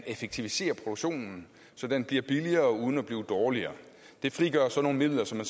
effektivisere produktionen så den bliver billigere uden at blive dårligere det frigør så nogle midler som